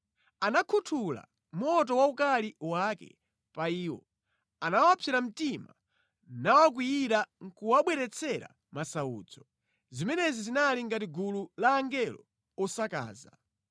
Anakhuthula moto wa ukali wake pa iwo, anawapsera mtima nawakwiyira nʼkuwabweretsera masautso. Zimenezi zinali ngati gulu la angelo osakaza.